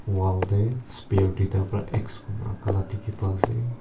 wall de spear tuita bera x raka la diki pa ase.